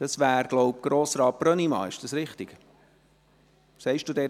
Sagt Grossrat Brönnimann etwas dazu?